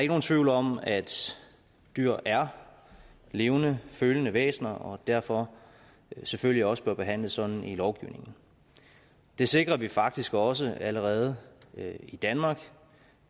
nogen tvivl om at dyr er levende følende væsener og derfor selvfølgelig også bør behandles sådan i lovgivningen det sikrer vi faktisk også allerede i danmark